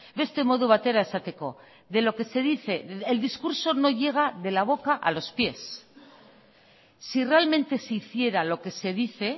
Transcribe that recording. beste modu batera esateko de lo que se dice el discurso no llega de la boca a los pies si realmente se hiciera lo que se dice